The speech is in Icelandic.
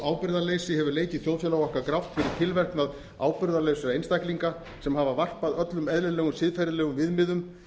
ábyrgðarleysi hefur leikið þjóðfélag okkar grátt fyrir tilverknað ábyrgðarlausra einstaklinga sem hafa varpað öllum eðlilegum siðferðilegum viðmiðum